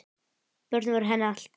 Börnin voru henni allt.